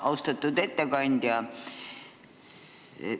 Austatud ettekandja!